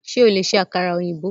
Ṣo lè ṣe àkàrà ọ̀yìnbó?